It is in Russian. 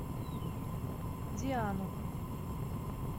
диану